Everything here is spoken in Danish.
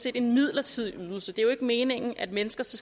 er en midlertidig ydelse det er jo ikke meningen at mennesker så